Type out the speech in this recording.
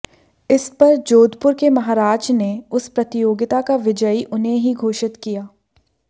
इस पर जोधपुर के महाराज ने उस प्रतियोगिता का विजयी उन्हें ही घोषित किया